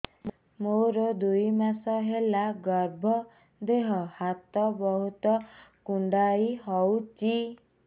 ମୋର ଦୁଇ ମାସ ହେଲା ଗର୍ଭ ଦେହ ହାତ ବହୁତ କୁଣ୍ଡାଇ ହଉଚି